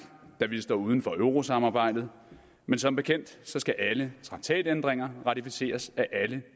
da vi står uden for eurosamarbejdet men som bekendt skal alle traktatændringer ratificeres af alle